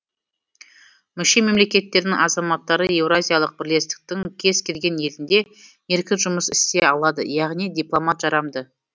мүше мемлекеттердің азаматтары еуразиялық бірлестіктің кез келген елінде еркін жұмыс істей алады яғни диплом жарамды